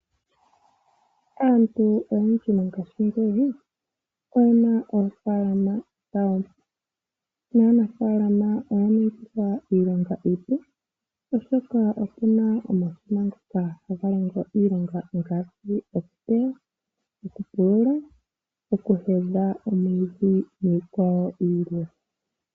Aantu oyendji mongashingeyi oyena oofalama dhawo, naanafalama oya ningilwa iilonga iipu, oshoka opuna omashina ngoka haga longo iilonga ngaashi okuteya, okupulula, oku heya omwiidhi niikwawo yilwe.